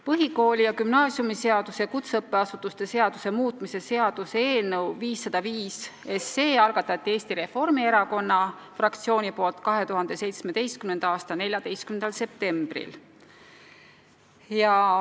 Põhikooli- ja gümnaasiumiseaduse ja kutseõppeasutuse seaduse muutmise seaduse eelnõu 505 algatas Eesti Reformierakonna fraktsioon 2017. aasta 14. septembril.